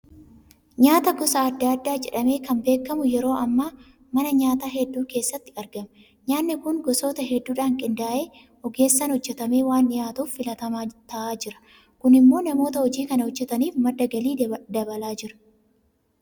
Nyaata gosa adda addaa jedhamee kan beekamu yeroo ammaa mana nyaataa hedduu keessatti argama. Nyaanni kun gosoota hedduudhaan qindaa'ee ogeessaan hojjetamee waan dhiyaatuuf filatamaa ta'aa jira. Kun immoo namoota hojii kana hojjetaniif madda galii dabalaa jira.